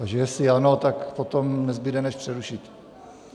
Takže jestli ano, tak potom nezbude než přerušit.